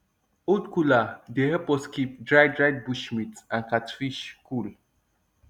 old cooler dey help us keep dried dried bush meat and catfish cool